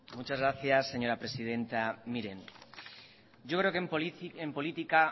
muchas gracias señora presidenta miren yo creo que en política